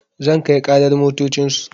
Zan kai ƙarar motocin su